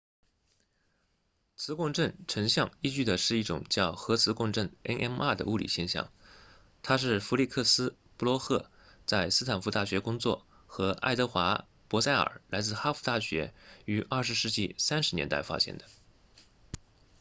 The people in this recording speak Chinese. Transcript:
磁共振成像依据的是一种叫核磁共振 nmr 的物理现象它是费利克斯布洛赫在斯坦福大学工作和爱德华珀塞耳来自哈佛大学于20世纪30年代发现的